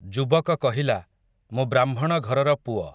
ଯୁବକ କହିଲା, ମୁଁ ବ୍ରାହ୍ମଣଘରର ପୁଅ ।